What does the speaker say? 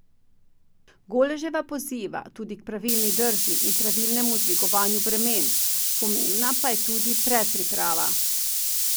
Goleževa poziva tudi k pravilni drži in pravilnemu dvigovanju bremen, pomembna pa je tudi predpriprava.